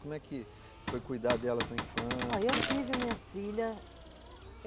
Como é que foi cuidar delas na infância? Olha, eu tive as minhas filhas